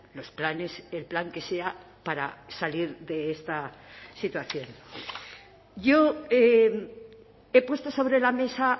los planes el plan que sea para salir de esta situación yo he puesto sobre la mesa